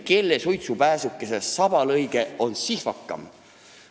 Kelle suitsupääsukese sabalõige on sihvakam?